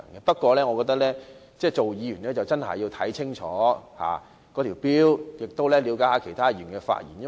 不過，作為議員應該要看清楚《條例草案》的條文，亦要了解其他議員的發言內容。